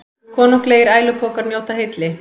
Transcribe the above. Konunglegir ælupokar njóta hylli